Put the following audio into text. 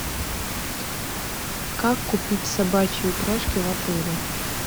как купить собачьи упряжки в отеле